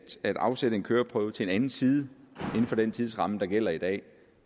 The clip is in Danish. at afsætte en køreprøve til anden side inden for den tidsramme der gælder i dag